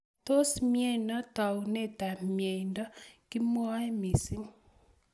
Tos mnyeno taunet ab mnyeni kimwaei missing.